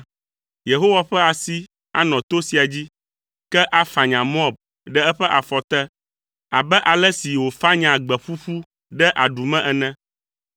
Yehowa ƒe asi anɔ to sia dzi, ke afanya Moab ɖe eƒe afɔ te abe ale si wofanyaa gbe ƒuƒu ɖe aɖu me ene.